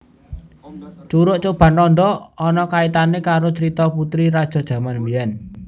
Curug Coban Rondo ono kaitane karo crito putri raja jaman mbiyen